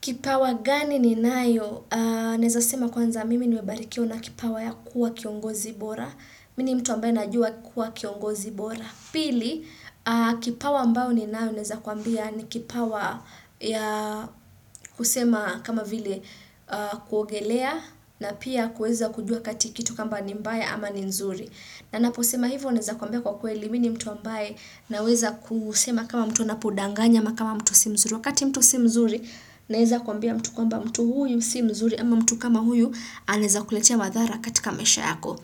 Kipawa gani ninayo? Naeza sema kwanza mimi nimebarikiwa na kipawa ya kuwa kiongozi bora. Mi ni mtu ambaye najua kuwa kiongozi bora. Pili, kipawa ambayo ninayo naeza kuambia ni kipawa ya kusema kama vile kuogelea na pia kuweza kujua kati kitu kamba ni mbaya ama ni nzuri. Na naposema hivyo naeza kuambia kwa kweli mi ni mtu ambaye naweza kusema kama mtu anapodanganya ama kama mtu si mzuri. Wakati mtu si mzuri, naeza kuambia mtu kwamba mtu huyu si mzuri, ama mtu kama huyu, anaeza kuletea madhara katika maisha yako.